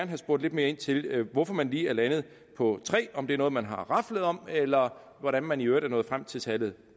have spurgt lidt mere ind til hvorfor man lige er landet på tre om det er noget man har raflet om eller hvordan man i øvrigt er nået frem til tallet